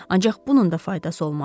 Ancaq bunun da faydası olmadı.